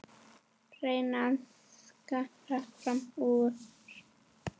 Reyna að skara fram úr.